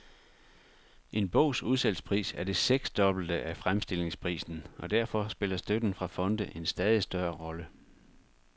En bogs udsalgspris er det seksdobbelte af fremstillingsprisen, og derfor spiller støtten fra fonde en stadig større rolle.